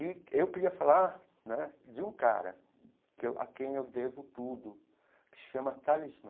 E eu queria falar né de um cara que a quem eu devo tudo, que se chama Talismã.